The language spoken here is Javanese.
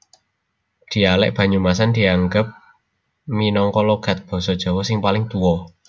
Dhialèk Banyumasan dianggep minangka logat Basa Jawa sing paling tuwa